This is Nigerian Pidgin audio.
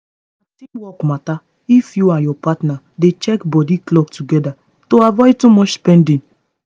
na teamwork matter if you and your partner dey check body clock together to avoid too much spending